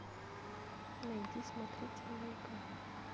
найди смотритель маяка